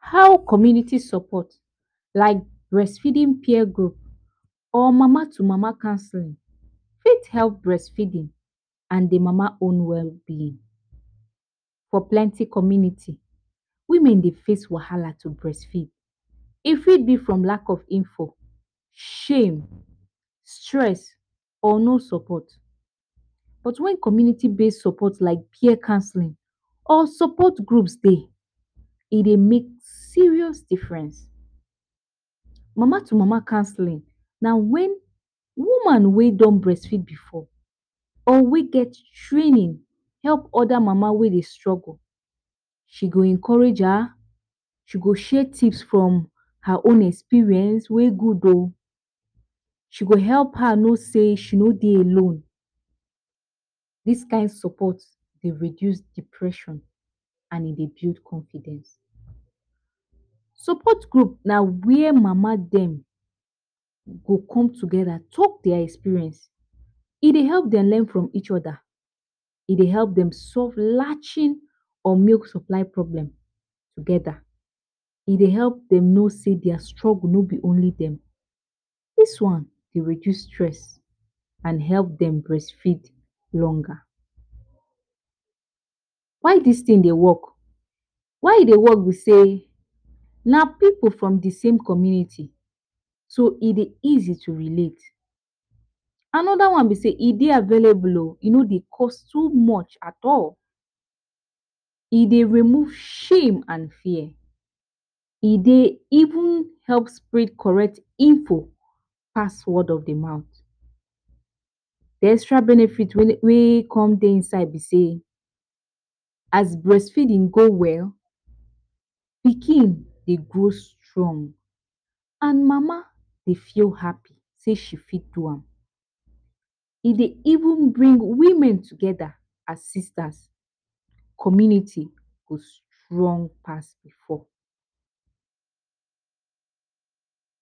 How community support like breastfeeding peer group or Mama to mama counsel fit help breastfeeding and de mama own well being. For plenty community women dey face wahala to breastfeed, e fit be from lack of info, shame, stress or no support but when community base support like peer counseling or support groups dey, e dey make serious difference. Mama to mama counseling na wen woman whey don breastfeed before or wey get training help our help other mama wey dey struggle she go encourage her, she go share tips from her own experience whey good o, she go help her no say she no dey alone, dis kind support dey reduce depression and e dey build confidence. Support group na where mama dem go come together talk their experience e dey help dem learn from each other, e dey help solve latching or milk supply problem together, e dey help dey no sey their struggle no be only dem, dis one dey reduce stress and help dem breastfeed longer why dis tin dey work? why e dey work b sey na pipu from d same community so e dey easy to relate, another one be sey e de available o e no de cost too much at all e dey remove shame and fear, e dey even help spread beta info pass de word of de mouth. D e extra benefit whey come dey inside b sey as breastfeeding go well pikin dey grow strong and mama dey feel happy she fit do am e dey even bring women together as sisters. Community go strong pass before.